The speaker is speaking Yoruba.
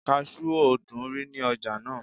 kasú ò dúnrí ní ọjà náà